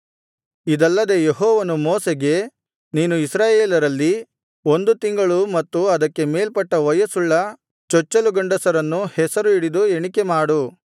ಇದಲ್ಲದೆ ಯೆಹೋವನು ಮೋಶೆಗೆ ನೀನು ಇಸ್ರಾಯೇಲರಲ್ಲಿ ಒಂದು ತಿಂಗಳು ಮತ್ತು ಅದಕ್ಕೆ ಮೇಲ್ಪಟ್ಟ ವಯಸ್ಸುಳ್ಳ ಚೊಚ್ಚಲು ಗಂಡಸರನ್ನು ಹೆಸರು ಹಿಡಿದು ಎಣಿಕೆಮಾಡು